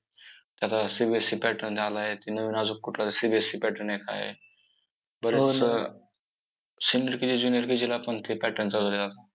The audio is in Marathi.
आता CBSE pattern आलाय नवीन अजून कुठलातर CBSE pattern आहे, काय आहे? बरंच senior KG junior KG ला पण ते pattern चालू झालेत.